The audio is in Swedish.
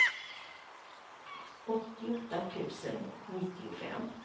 åttioåtta tusen nittiofem